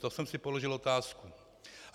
To jsem si položil otázku.